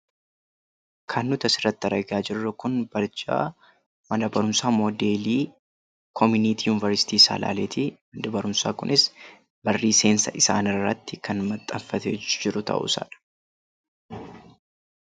Kan asirratti arginu Kun barjaa mana barumsaa moodeelii komuniitii Yuniversiitii Salaaleeti. Manni barumsaa Kunis barrii seensa isaaniirratti kan maxxanfatee kan jirudha.